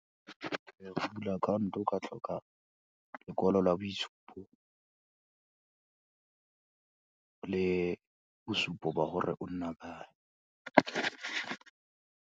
Go bula account-o o ka tlhoka lekwalo la boitshupo, le bosupo ba gore o nna kae.